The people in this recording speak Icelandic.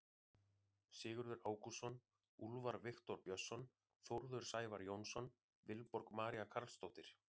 Sigurður Ágústsson, Úlfar Viktor Björnsson, Þórður Sævar Jónsson, Vilborg María Carlsdóttir.